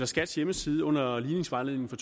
skats hjemmeside under ligningsvejledningen for